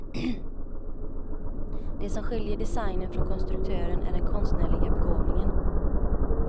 Det som skiljer designern från konstruktören är den konstnärliga begåvningen.